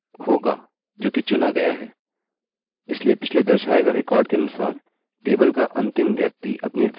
इसलिए पिछले दर्शाए गये रिकार्डअभिलेखके अनुसार टेबलतालिका का अंतिम व्यक्ति अपनी वैल्यू एकोechoकरेगा